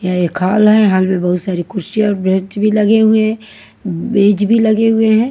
यह एक हॉल है हॉल में बहोत सारी कुसचिया और बेंच भी लगे हुए हैं बेज भी लगे हुए हैं।